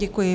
Děkuji.